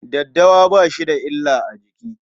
Daddawa ba shi da illa a jiki.